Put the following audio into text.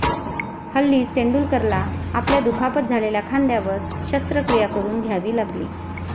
हल्लीच तेंडुलकरला आपल्या दुखापत झालेल्या खांद्यावर शस्त्रक्रिया करून घ्यावी लागली.